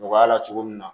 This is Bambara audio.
Nɔgɔya la cogo min na